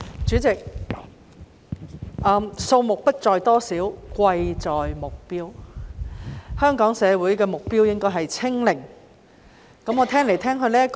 主席，數目不在乎多少，貴在目標，香港社會的目標應該是確診數字"清零"。